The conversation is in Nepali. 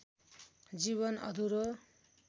जीवन अधुरो